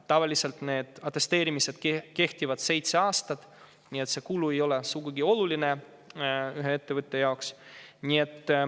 Tavaliselt need atesteerimised kehtivad seitse aastat, nii et see kulu ei ole sugugi oluline ühe ettevõtte jaoks.